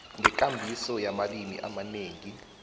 ngekambiso yamalimi amanengi